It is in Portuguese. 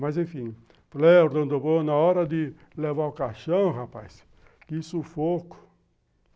Mas, enfim, eu falei, na hora de levar o caixão, rapaz, que sufoco.